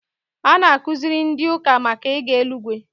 A na-akuziri ndị ụka màkà ịga eluigwe